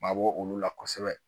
Mabɔ olu la kosɛbɛ